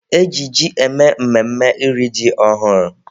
E ji ji eme mmemme iri ji ọhụrụ